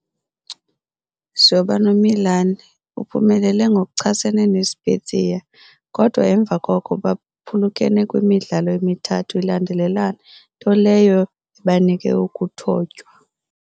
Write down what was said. Zoba noMilan, uphumelele ngokuchasene neSpezia, kodwa emva koko baphulukene kwimidlalo emithathu ilandelelana nto leyo ebanike ukuthotywa.